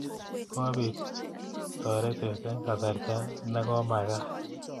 Kopiit taretet eng' kasarta ne komakaat